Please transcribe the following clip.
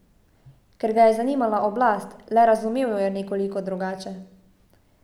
Ker ga je zanimala oblast, le razumel jo je nekoliko drugače.